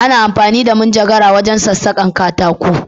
Ana amfani da cisir wajen sassaka katako.